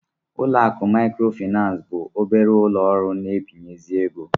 Ụlọ akụ Maịkrofịnansị bụ obere ụlọ ọrụ na-agbazinye ego.